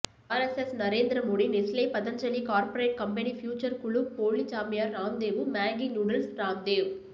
RSS Narendra Modi Nestle Patanjali corporate company future குழு போலிச் சாமியார் ராம்தேவு மேகி நூடுல்ஸ் ராம்தேவ்